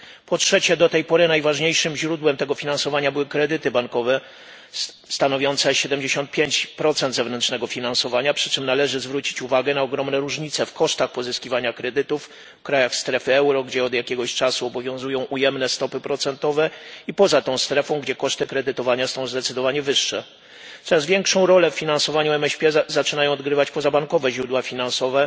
Po trzecie, do tej pory najważniejszym źródłem tego finansowania były kredyty bankowe stanowiące 75 zewnętrznego finansowania, przy czym należy zwrócić uwagę na ogromne różnice w kosztach pozyskiwania kredytów w krajach strefy euro, gdzie od jakiegoś czasu obowiązują ujemne stopy procentowe i poza tą strefą, gdzie koszty kredytowania są zdecydowanie wyższe. Coraz większą rolę w finansowaniu MŚP zaczynają odgrywać pozabankowe źródła finansowe